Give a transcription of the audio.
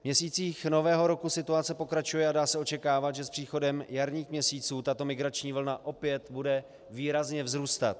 V měsících nového roku situace pokračuje a dá se očekávat, že s příchodem jarních měsíců tato migrační vlna opět bude výrazně vzrůstat.